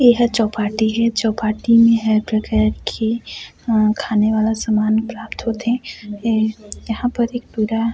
यह चौपाटी है चौपाटी में हर प्रकार कि खाने वाला सामान प्राप्त होथे है यहाँ पर एक पूरा--